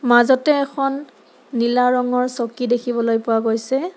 মাজতে এখন নীলা ৰঙৰ চকী দেখিবলৈ পোৱা গৈছে।